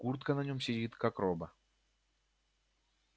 куртка на нем сидит как роба